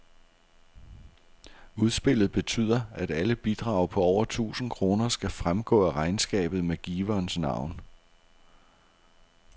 Udspillet betyder, at alle bidrag på over tusind kroner skal fremgå af regnskabet med giverens navn.